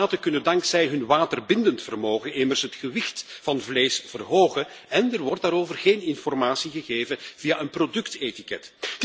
Fosfaten kunnen dankzij hun waterbindend vermogen immers het gewicht van vlees verhogen en er wordt daarover geen informatie gegeven via een productetiket.